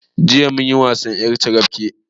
Jiya munyi wasan ƴar carabke